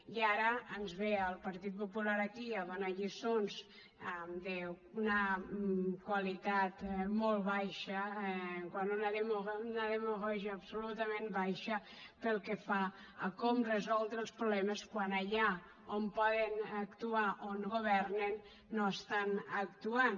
i ara ens ve el partit popular aquí a donar lliçons d’una qualitat molt baixa d’una demagògia absolutament baixa pel que fa a com resoldre els problemes quan allà on poden actuar on governen no estan actuant